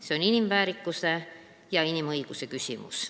See on inimväärikuse ja inimõiguse küsimus.